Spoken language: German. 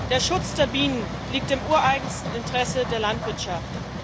Der Schutz der Bienen liegt im ureigensten Interesse der Landwirtschaft.